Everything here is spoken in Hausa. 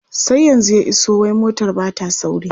Sai yanzu ya iso wai motar ba ta sauri.